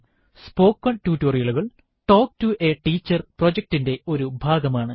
spoken ടുട്ടോറിയലുകൾ talk to a teacher പ്രൊജക്റ്റിറ്റിന്റെ ഒരു ഭാഗമാണ്